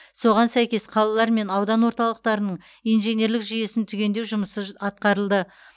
соған сәйкес қалалар мен аудан орталықтарының инженерлік жүйесін түгендеу жұмысы атқарылды